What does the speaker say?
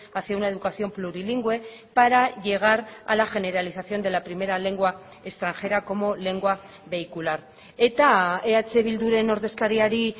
hacia una educación plurilingüe para llegar a la generalización de la primera lengua extranjera como lengua vehicular eta eh bilduren ordezkariari